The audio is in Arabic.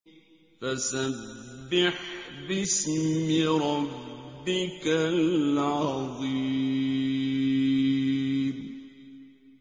فَسَبِّحْ بِاسْمِ رَبِّكَ الْعَظِيمِ